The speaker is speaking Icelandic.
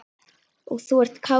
Og þú ert kátur.